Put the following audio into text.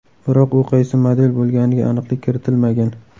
Biroq u qaysi model bo‘lganiga aniqlik kiritilmagan.